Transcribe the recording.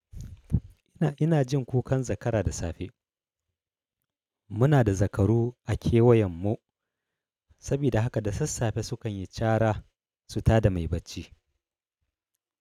Ina, ina jin kukan zakara da safe. Muna da zakaru a kewayen mu sabida haka da sassafe sukan yi cara su tada mai bacci.